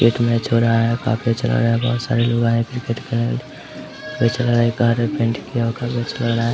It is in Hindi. क्रिकेट मैच हो रहा है काफी अच्छा लग रहा है यहां बहुत सारे लोग आए है क्रिकेट खेलने